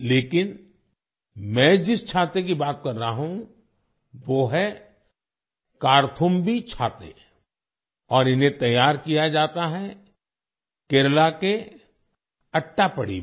लेकिन मैं जिस छाते की बात कर रहा हूँ वो हैं 'कार्थुम्बी छाते' और इन्हें तैयार किया जाता है केरला के अट्टापडी में